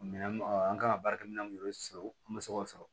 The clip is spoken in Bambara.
Minɛn ɔ an kan ka baara kɛ minɛn minnu sɔrɔ an bɛ se k'o sɔrɔ